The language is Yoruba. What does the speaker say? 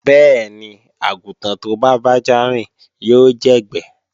Bẹ́ẹ̀ni, àgùntàn tó bá bájá rìn yóò jẹ̀gbẹ́